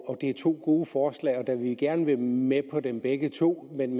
det er to gode forslag og da vi gerne vil med på dem begge to men